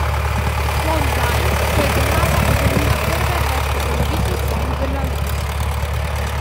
Sploh zdaj, ko je država obrnila hrbet več kot polovici svojih državljanov.